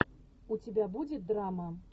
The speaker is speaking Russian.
у тебя будет драма